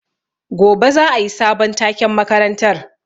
Gobe za a yi sabon taken makarantar.